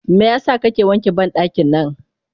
Meyasa kake wanke bandaki nan?